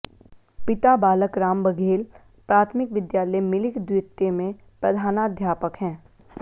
पिता बालकराम बघेल प्राथमिक विद्यालय मिलिक द्वितीय में प्रधानाध्यापक हैं